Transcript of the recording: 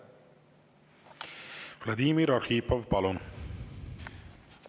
Vladimir Arhipov, palun!